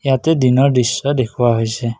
ইয়াতে দিনৰ দৃশ্য দেখুওৱা হৈছে।